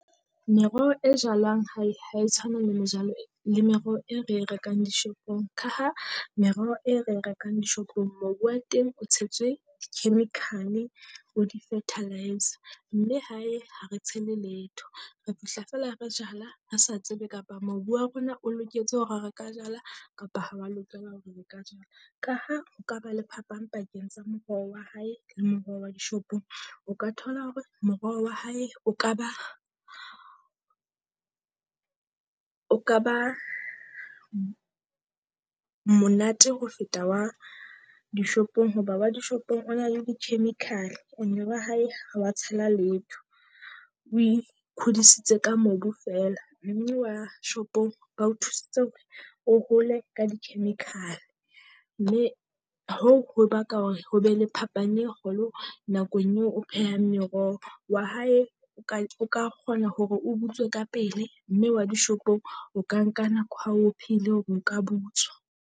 Meroho e jalwang ha e ha e tshwane le mejalo le meroho e re e rekang dishopong, ka ha merero e re e rekang dishopong mobu wa teng o tshetswe chemical, bo di-fertiliser. Mme hae ha re tshele letho re fihla feela re jala re sa tsebe kapa mobu wa rona o loketse hore re ka jala kapa ha wa lokela hore re ka jala. Ka ha o ka ba le phapang pakeng tsa moroho wa hae le moroho wa dishopong. O ka thola hore moroho wa hae o ka ba o ka ba monate ho feta wa dishopong hoba wa dishopong o na le di-chemical, and-e wa hae ha wa tshela letho. O ikgodisitse ka mobu feela mme wa shopong bao thusitse hore o hole ka di-chemical, mme hoo ho baka hore ho be le phapang e kgolo nakong eo o phehang meroho. Wa hae o ka o ka kgona hore o butswe ka pele mme wa dishopong o ka nka nako ha o pheile hore o ka butswa.